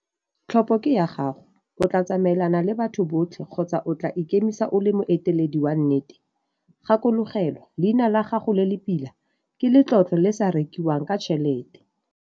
Tlhopo ke ya gago - o tlaa tsamaelana le batho botlhe kgotsa o tlaa ikemisa o le moeteledi wa nnete? Gakologelwa - Leina la gago le le pila ke letlotlo le le sa rekiwang ka tšhelete.